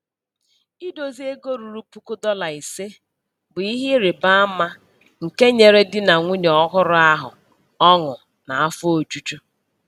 Idozi ego ruo puku dọla ise bụ ihe ịrịbaama nke nyere di na nwunye ọhụrụ ahụ ọṅụ na afọ ojuju.